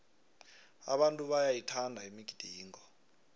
abantu bayayithanda imigidingo